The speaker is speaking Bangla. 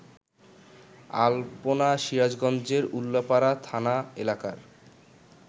আল্পনা সিরাজগঞ্জের উল্লাপাড়া থানা এলাকার